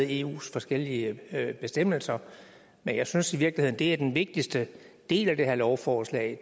eus forskellige bestemmelser men jeg synes i virkeligheden at det er den vigtigste del af det her lovforslag